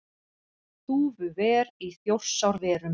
Þúfuver í Þjórsárverum.